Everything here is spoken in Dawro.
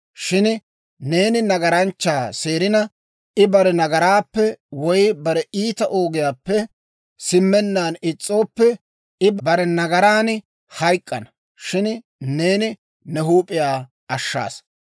Shin neeni nagaranchchaa seerina, I bare nagaraappe woy bare iita ogiyaappe simmennaan is's'ooppe, I bare nagaran hayk'k'ana; shin neeni ne huup'iyaa ashshana.